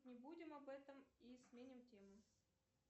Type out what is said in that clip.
не будем об этом и сменим тему